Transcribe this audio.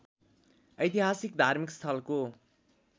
ऐतिहासिक धार्मिक स्थलको